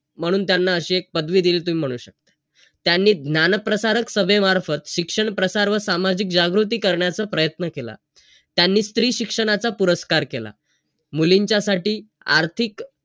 फक्त एवढेच की दुसऱ्यांबद्दल वाईट विचार नाही करायचा आपण तरी भले दुसरे कसे वागतात.